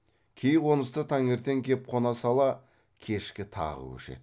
кей қонысқа таңертең кеп қона сала кешке тағы көшеді